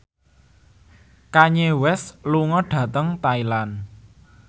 Kanye West lunga dhateng Thailand